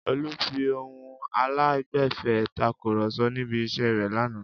Olú fi ohùn aláìgbẹ̀fẹ̀ takùrọ̀sọ níbi iṣẹ́ rẹ̀ lánàá.